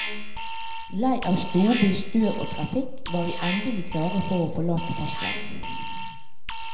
Lei av storby, støv og trafikk var vi endelig klare for å forlate fastlandet.